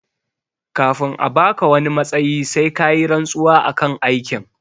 Kafin a baka wani matsayi sai kayi rantsuwa akan aikin